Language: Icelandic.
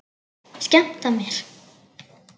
Skemmta mér?